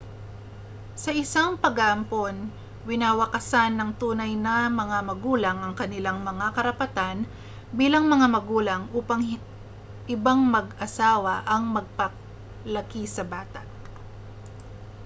sa isang pag-aampon winawakasan ng tunay na mga magulang ang kanilang mga karapatan bilang mga magulang upang ibang mag-asawa ang makapagpalaki sa bata